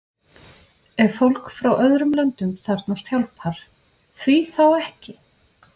Ef fólk frá öðrum löndum þarfnast hjálpar, því þá ekki?